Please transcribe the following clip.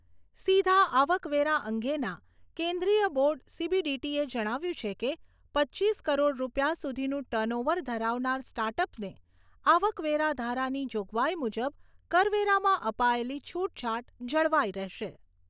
સીધા આવકવેરા અંગેના કેન્દ્રીય બોર્ડ સીબીડીટીએ જણાવ્યું છે કે, પચીસ કરોડ રૂપિયા સુધીનું ટર્નઓવર ધરાવનાર સ્ટાર્ટઅપને આવકવેરા ધારાની જોગવાઈ મુજબ કરવેરામાં અપાયેલી છૂટછાટ જળવાઈ રહેશે.